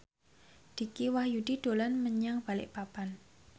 Dicky Wahyudi dolan menyang Balikpapan